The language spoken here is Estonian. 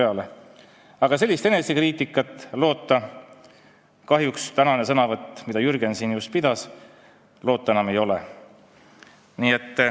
Aga kahjuks sellist enesekriitikat pärast tänast Jürgeni sõnavõttu loota ei ole.